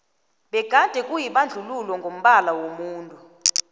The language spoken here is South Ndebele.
begade kuyibandluuo ngokombala womuntu